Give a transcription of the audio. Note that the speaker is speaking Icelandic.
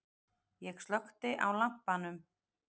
Ég slökkti á lampanum.